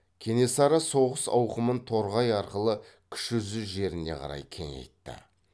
кенесары соғыс ауқымын торғай арқылы кіші жүз жеріне қарай кеңейтті